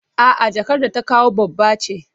A'a jakar da ta kawo babba ce.